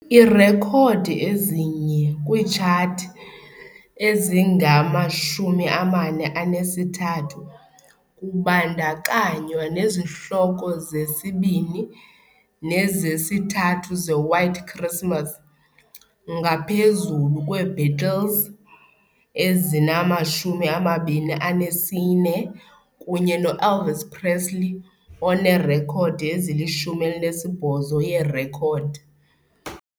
Iirekhodi ezi-1 kwiitshathi, ezingama-43 kubandakanywa nezihloko zesibini nezesithathu ze "White Christmas", ngaphezulu kweBeatles, ezinama-24, kunye no- Elvis Presley onerekhodi, ezili-18, yeerekhodi.